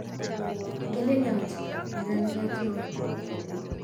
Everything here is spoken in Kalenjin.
Igelelyot neraniat non